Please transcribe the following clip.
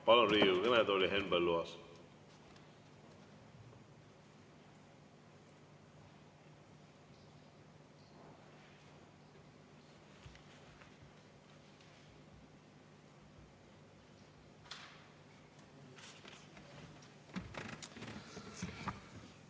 Palun Riigikogu kõnetooli Henn Põlluaasa!